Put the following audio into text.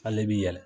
Ale bi yɛlɛ